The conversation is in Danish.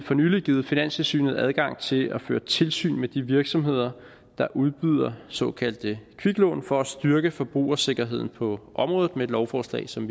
for nylig givet finanstilsynet adgang til at føre tilsyn med de virksomheder der udbyder såkaldte kviklån for at styrke forbrugersikkerheden på området med et lovforslag som